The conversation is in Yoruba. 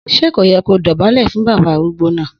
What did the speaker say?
Sẹ kọ yẹ kọ dọbàlẹ́ fún bàbá arúgbò na?